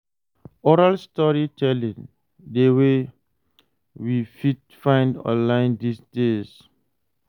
Oral storytelling de wey we fit find online these days